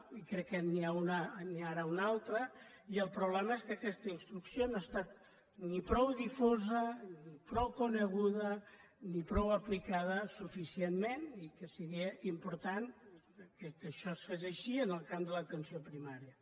i crec que n’hi ha ara una altra el problema és que aquesta instrucció no ha estat ni prou difosa ni prou coneguda ni prou aplicada suficientment i que seria important que això es fes així en el camp de l’atenció primària